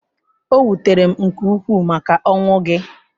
O wutere m nke ukwuu maka ọnwụ gị.